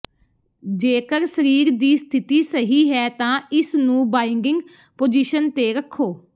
ਜੇਕਰ ਸਰੀਰ ਦੀ ਸਥਿਤੀ ਸਹੀ ਹੈ ਤਾਂ ਇਸ ਨੂੰ ਬਾਈਡਿੰਗ ਪੋਜੀਸ਼ਨ ਤੇ ਰੱਖੋ